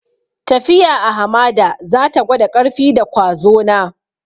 Tafiya a hamada za ta gwada ƙarfi da kwazo na.